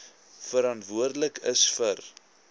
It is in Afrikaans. verantwoordelik is vir